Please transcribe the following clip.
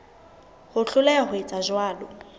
ho hloleha ho etsa jwalo